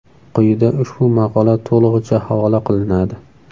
Quyida ushbu maqola to‘lig‘icha havola qilinadi.